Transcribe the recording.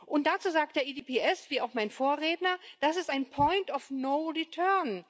Und dazu sagt der EDSB, wie auch mein Vorredner, das ist ein point of no return